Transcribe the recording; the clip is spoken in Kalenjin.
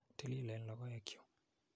Tililen logeoek chu.